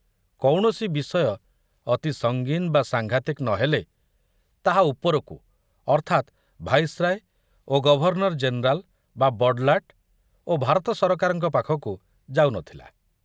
କୌଣସି ବିଷୟ ଅତି ସଙ୍ଗୀନ ବା ସାଂଘାତିକ ନ ହେଲେ ତାହା ଉପରକୁ ଅର୍ଥାତ୍ ଭାଇସରାୟ ଓ ଗଭର୍ଣ୍ଣର ଜେନେରାଲ ବା ବଡ଼ଲାଟ ଓ ଭାରତ ସରକାରଙ୍କ ପାଖକୁ ଯାଉ ନଥିଲା।